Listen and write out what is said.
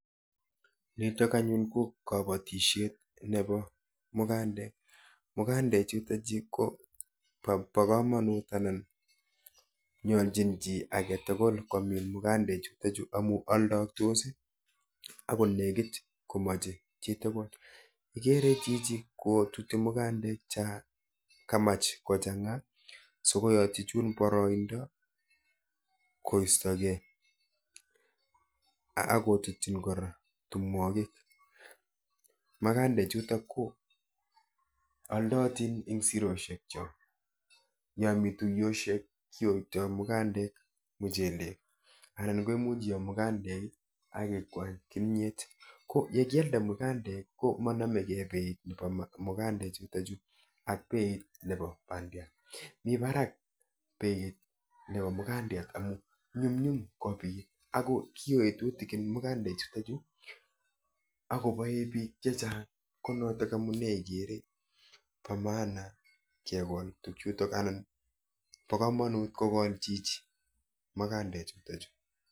Nitok anyun ko kabatishet nepo mukandek. Mukandechutochu ko po komonut anan nyolchin chi aketukul komin mukandechutochu amu aldooktos akonekit komoche chitukul. Ikere chichi kotuti mukandek cha kamach kochang'a sikoyotchi chun boroindo koistokei akotutchin kora tumwokik. Makandechutok ko oldootin eng siroshekchok. Yomi tuiyoshek kiyoitoi mukandek muchelek anan ko imuch iyo mukandek akikwany kimiet. Ko yekialda mukandek ko manomekei beit nepo mukandechutochu ak beit nepo bandiat, mi barak beit nepo mukandiat amu nyumnyum kopit ako kiyoi tutikin mukandechutochu akopoe biik chechang ko notok amune ikere po maana kekol tukchutok anan po komomut kokol chichi mukandechutochu.